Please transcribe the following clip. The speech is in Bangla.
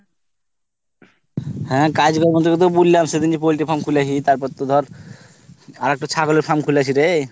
হ্যাঁ কাজ কর্ম বলতে তোকে তো বললাম, সেইদিনই poultry farm খুলেছি তার পড়তো ধর আর একটা ছাগলের farm খুলেছি রে।